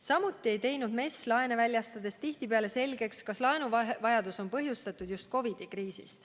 Samuti ei teinud MES laene väljastades tihtipeale selgeks, kas laenuvajaduse on põhjustanud just COVID-i kriis.